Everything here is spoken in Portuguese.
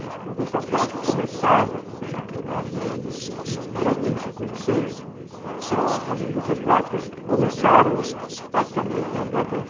A indústria plástica começava ali, eu graduei em cinquenta e seis, então as indústrias plásticas começaram praticamente na década de